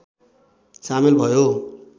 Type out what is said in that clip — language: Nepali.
सामेल भयो